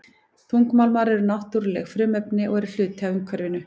Þungmálmar eru náttúruleg frumefni og eru hluti af umhverfinu.